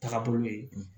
Taga bolo ye